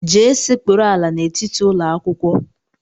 Jee sekpuru ala n'etiti ụlọakwụkwọ!